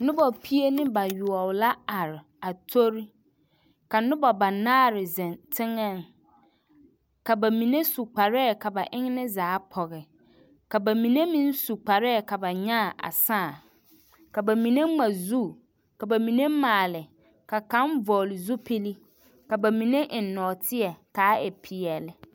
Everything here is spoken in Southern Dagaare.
Noba pie ne bayoɔbo la are a tori, ka noba banaare zeŋ teŋɛŋ ka bamine su kparɛɛ ka ba enne zaa pɔge, ka bamine meŋ su kparɛɛ ka ba nyaa a sãã, ka bamine ŋma zu ka bamine maale, ka kaŋ vɔgele zupili ka bamine eŋ nɔɔteɛ k'a e peɛle.